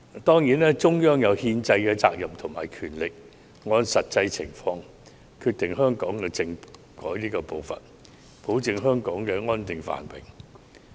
當然，中央有憲制責任和權力按實際情況決定香港的政改步伐，保證香港安定繁榮。